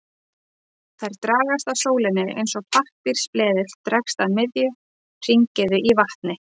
Þær dragast að sólinni eins og pappírsbleðill dregst að miðju hringiðu í vatni.